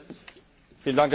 Herr Präsident!